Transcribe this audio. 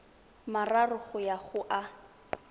mararo go ya go a